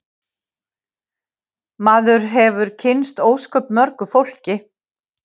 Maður hefur kynnst óskaplega mörgu fólki